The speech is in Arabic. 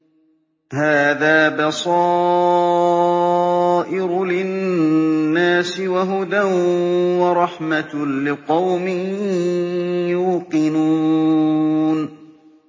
هَٰذَا بَصَائِرُ لِلنَّاسِ وَهُدًى وَرَحْمَةٌ لِّقَوْمٍ يُوقِنُونَ